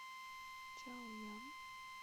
чаоян